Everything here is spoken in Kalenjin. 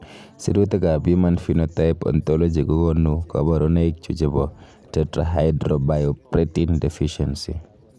Sirutikab Human Phenotype Ontology kokonu koborunoikchu chebo Tetrahydrobiopterin deficiency.